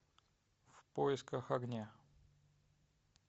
в поисках огня